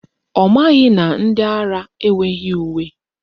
Ọ maghị na ndị ara enweghị uwe